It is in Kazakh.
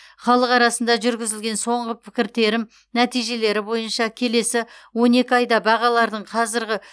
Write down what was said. халық арасында жүргізілген соңғы пікіртерім нәтижелері бойынша келесі он екі айда бағалардың қазіргі